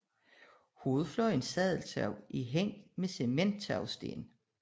Hovedfløjens sadeltag er hængt med cementtagsten